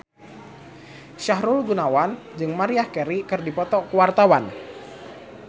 Sahrul Gunawan jeung Maria Carey keur dipoto ku wartawan